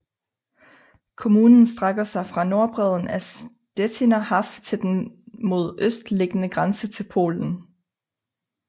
Kommunen strækker sig fra norddbredden af Stettiner Haff til den mod øst liggende grænse til Polen